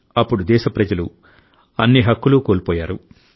అప్పుడు దేశ ప్రజలు అన్ని హక్కులూ కోల్పోయారు